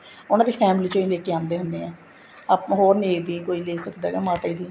ਉਹਨਾ ਦੀ family ਚੋ ਲੈਕੇ ਆਦੇ ਹੁੰਦੇ ਹੈ ਹੋਰ ਨਹੀਂ ਕੋਈ ਦੇ ਸਕਦਾ ਮਾਤਾ ਜੀ ਦੀ